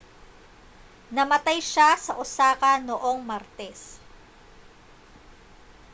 namatay siya sa osaka noong martes